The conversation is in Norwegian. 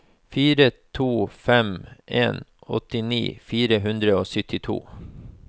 fire to fem en åttini fire hundre og syttito